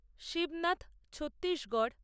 Shibnath Chhattisgarh